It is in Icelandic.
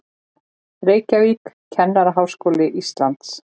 Reykjavík, Kennaraháskóli Íslands.